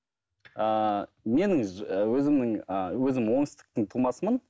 ыыы менің өзімнің ыыы өзім оңтүстіктің тумасымын